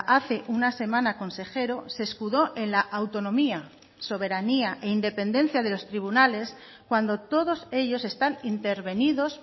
hace una semana consejero se escudó en la autonomía soberanía e independencia de los tribunales cuando todos ellos están intervenidos